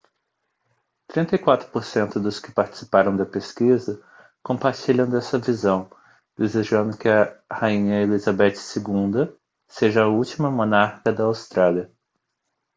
34 por cento dos que participaram da pesquisa compartilham dessa visão desejando que a rainha elizabeth ii seja a última monarca da austrália